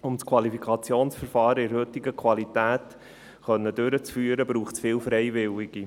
Um das Qualifikationsverfahren in der heutigen Qualität durchführen zu können, braucht es viele Freiwillige.